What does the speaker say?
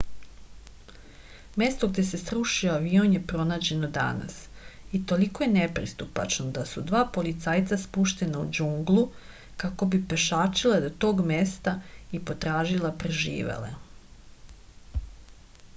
mesto gde se srušio avion je pronađeno danas i toliko je nepristupačno da su dva policajca spuštena u džunglu kako bi pešačila do tog mesta i potražila preživele